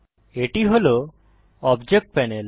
এটি হল object panel